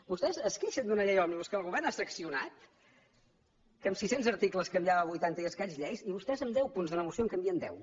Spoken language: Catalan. vostès es queixen d’una llei òmnibus que el govern ha seccionat que amb sis cents articles canviava vuitanta i escaig lleis i vostès amb deu punts d’una moció en canvien deu